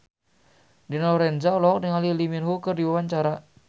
Dina Lorenza olohok ningali Lee Min Ho keur diwawancara